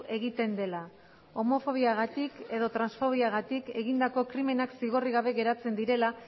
egiten dela homofobiagatik edo transfobiagatik egindako krimenak zigorrik gabe geratzen direla